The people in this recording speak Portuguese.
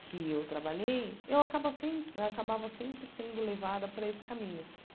que eu trabalhei, eu acaba sem eu acabava sempre sendo levada para esse caminho.